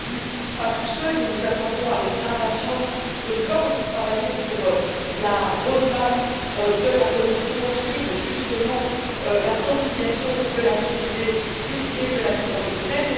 Bien entendu, pas tout seul, et nous attendons avec impatience de pouvoir aussi travailler sur la roadmap de la Commission qui porte justement sur la conciliation de la vie privée et de la vie professionnelle.